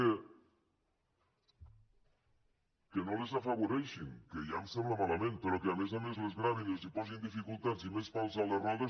que no les afavoreixin que ja em sembla malament però que a més a més les gravin i els posin dificultats i més pals a les rodes